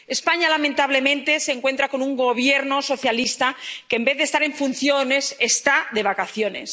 España, lamentablemente, se encuentra con un Gobierno socialista que, en vez de estar en funciones, está de vacaciones.